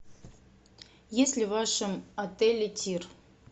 есть ли в вашем отеле тир